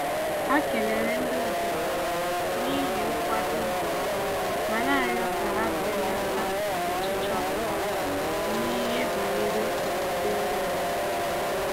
Ha kelere ndị obodo n'ihi nkwado ha, ma na-arịọ ka ha belata ọchịchọ ha n'ihe banyere okwukwe ndị mmadụ